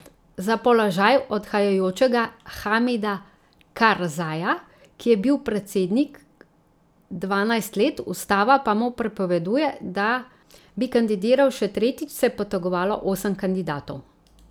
Za položaj odhajajočega Hamida Karzaja, ki je bil predsednik dvanajst let, ustava pa mu prepoveduje, da bi kandidiral še tretjič, se je potegovalo osem kandidatov.